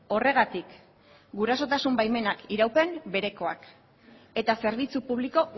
horregatik gurasotasun baimenak iraupen berekoak eta zerbitzu publiko